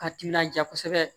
Ka timinanja kosɛbɛ